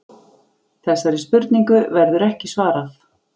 Þessari spurningu verður ekki svarað.